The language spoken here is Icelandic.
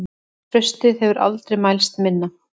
Traustið hefur aldrei mælst minna.